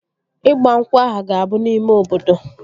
Ịgba nkwụ ahụ ga-abụ n'ime obodo